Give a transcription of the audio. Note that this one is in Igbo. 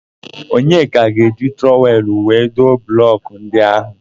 Onyeka ga-eji trọwel wee doo blọkụ ndị áhụ̀.